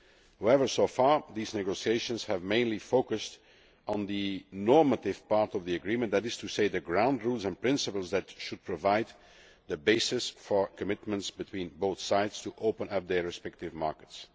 However, so far these negotiations have mainly focused on the normative part of the agreement, that is to say the ground rules and principles that should provide the basis for commitments between both sides to open up their respective markets.